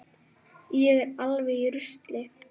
Ég er alveg í rusli.